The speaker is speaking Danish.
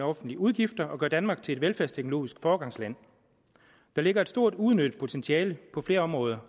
offentlige udgifter og gøre danmark til et velfærdsteknologisk foregangsland der ligger et stort uudnyttet potentiale på flere områder